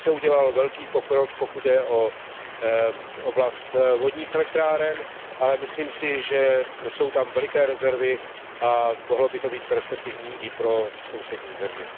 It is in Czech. Tam se udělal velký pokrok, pokud jde o oblast vodních elektráren, ale myslím si, že jsou tam velké rezervy a mohlo by to být perspektivní i pro sousední země.